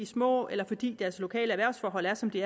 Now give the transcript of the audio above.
små eller fordi deres lokale erhvervsforhold er som de